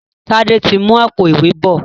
Tade tí ń mú Àpò-ìwé bọ